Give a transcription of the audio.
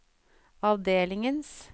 avdelingens